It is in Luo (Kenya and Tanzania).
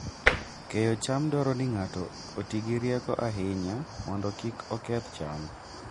Keyo cham dwaro ni ng'ato oti gi rieko ahinya mondo kik oketh cham.